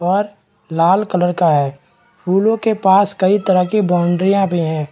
और लाल कलर का है फूलो के पास कई तरह के बाउंड्रीया भी है।